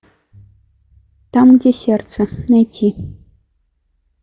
там где сердце найти